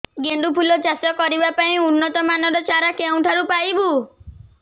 ଗେଣ୍ଡୁ ଫୁଲ ଚାଷ କରିବା ପାଇଁ ଉନ୍ନତ ମାନର ଚାରା କେଉଁଠାରୁ ପାଇବୁ